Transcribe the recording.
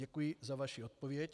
Děkuji za vaši odpověď.